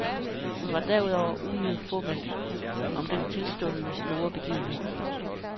Hun var derudover uhyre fåmælt om den tilstundende store begivenhed.